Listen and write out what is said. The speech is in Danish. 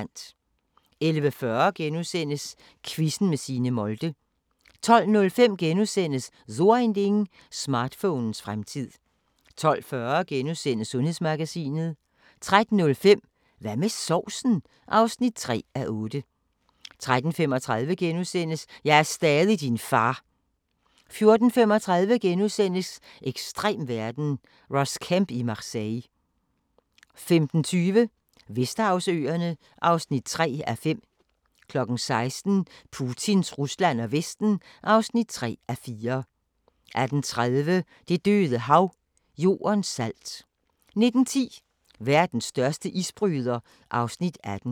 11:40: Quizzen med Signe Molde * 12:05: So Ein Ding: Smartphonens fremtid * 12:40: Sundhedsmagasinet * 13:05: Hvad med sovsen? (3:8) 13:35: Jeg er stadig din far! * 14:35: Ekstrem verden – Ross Kemp i Marseille * 15:20: Vesterhavsøerne (3:5) 16:00: Putins Rusland og Vesten (3:4) 18:30: Det Døde Hav – Jordens salt 19:10: Verdens største isbryder (Afs. 18)